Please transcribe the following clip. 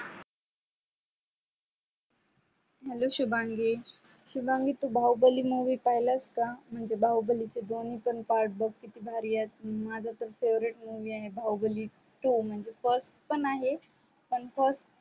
hello Shubhangi Shubhangi तू Baahubali movie पाहिलास का म्हणजे बाहुबलीचे दोन्ही part बग किती भारी आहे माझे तर favorite movie आहे बाहुबली two म्हणजे first पण first